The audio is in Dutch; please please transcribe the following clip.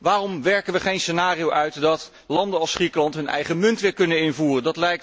Waarom werken we geen scenario uit dat landen als Griekenland hun eigen munt weer kunnen invoeren?